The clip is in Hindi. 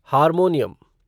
हारमोनियम